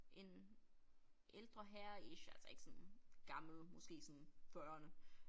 En ældre herre ish altså ikke sådan gammel måske sådan fyrrerne